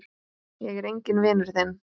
Ég er enginn vinur þinn!